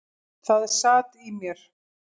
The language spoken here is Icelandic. Það sat í mér.